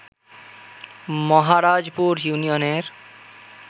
মহারাজপুর ইউনিয়নের